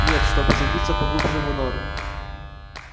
нет чтобы забиться поглубже в норы